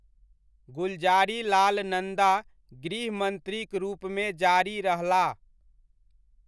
गुलज़ारीलाल नन्दा गृह मन्त्रीक रूपमे जारी रहलाह।